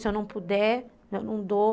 Se eu não puder, eu não dou.